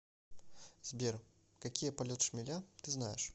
сбер какие полет шмеля ты знаешь